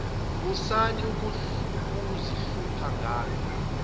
musani ukuzihlupha ngami